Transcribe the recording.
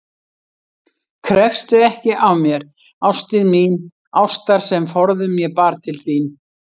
Krefstu ekki af mér, ástin mín, ástar sem forðum ég bar til þín.